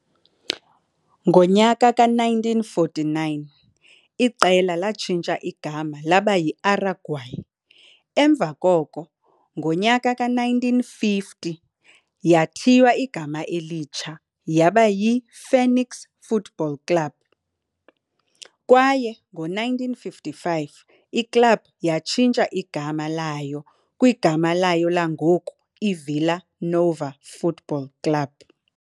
Ngowe-1949 iqela latshintsha igama laba yiAraguaia, emva koko ngo-1950 yathiywa igama elitsha yaba yiFênix Futebol Clube kwaye ngo-1955 iklabhu yatshintsha igama layo kwigama layo langoku, iVila Nova Futebol Clube.